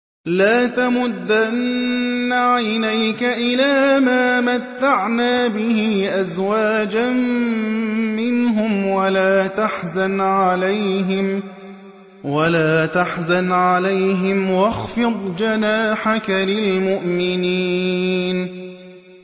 لَا تَمُدَّنَّ عَيْنَيْكَ إِلَىٰ مَا مَتَّعْنَا بِهِ أَزْوَاجًا مِّنْهُمْ وَلَا تَحْزَنْ عَلَيْهِمْ وَاخْفِضْ جَنَاحَكَ لِلْمُؤْمِنِينَ